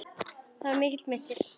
Það var mikill missir.